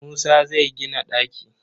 Musa zai gina ɗaki.